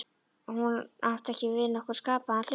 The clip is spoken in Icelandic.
Hún átti ekki við nokkurn skapaðan hlut.